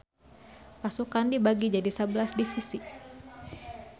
Pasukan dibagi jadi sabelas divisi